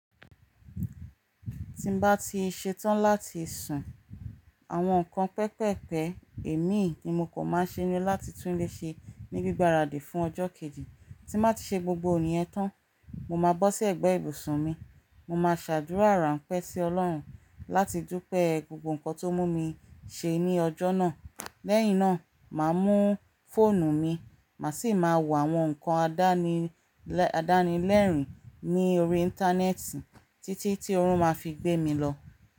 Tí bá ti ṣe tán láti sùn, àwọn nǹkan pẹpẹpẹ èmi ni mo kò máa ṣe ni láti tún léṣe ní gbígbára dé fún ọjọ́ kejì. Tí bá ti ṣe gbogbo iyẹn tán, mo máa bọ́ sí ẹ̀gbẹ́ ibùsùn mi, mo máa ṣàdúrà ránpẹ́ sí Ọlọ́run láti dúpẹ́ gbogbo nǹkan tó mú mi ṣe ní ọjọ́ náà. Lẹ́yìn náà, màá mú fóònù mi, màá sì máa wò àwọn nǹkan àdánilẹ́rìn ní orí íńtánẹ́ẹ̀tì títí tí ọ̀run máa fi gbé mi lọ.